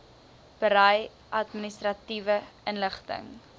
berei administratiewe inligting